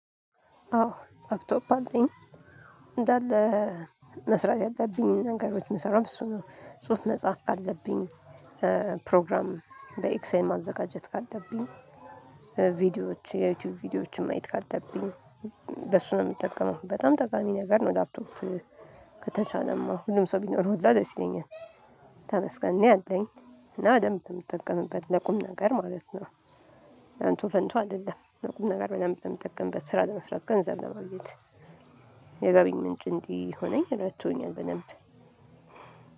አዎ ላፕቶፕ አለኝ። እንዳለ መስራት ያለብኝን ነገሮች ምሰራው በእሱ ነው። ጽሁፍ መጻፍ ካለብኝ ፕሮግራም በኤክዜል ማዘጋጀት ካለብኝ ቪዲዮዎችን የዩቲዩብ ቪዲዮዎችን ማየት ካለብኝ በእሱ ነው የምጠቀመው። በጣም ጠቃሚ ነገር ነው ላፕቶፕ። ከተሻለማ ሁሉም ሰው ቢኖረው ሁሉ ደስ ይለኛል። ተመስገን እኔ አለኝ። እና በደንብ ብንጠቀምበት ለቁም ነገር ማለት ነው። ለእንቶ ፈንቶ አይደለም። ለቁም ነገር በደንብ ብንጠቀምበት ስራ ለመስራት ገንዘብ ለማግት የገቢ ምንጭ እንዲሆነኝ ሆነኝ ረድቶኛል። በደንብ